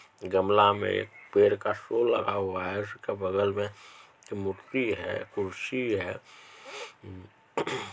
गमला मे पेड़ का फूल लगा हुआ है इसके बगल मे मूर्ति है कुर्सी है।